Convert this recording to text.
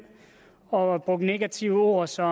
og brugt negative ord som